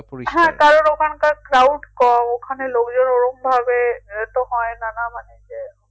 হ্যাঁ কারণ ওখানকার crowd কম ওখানে লোকজন ওরমভাবে তো হয়না না মানে যে